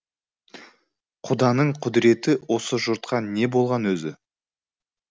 құданың құдіреті осы жұртқа не болған өзі